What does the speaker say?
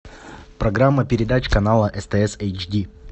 программа передач канала стс эйчди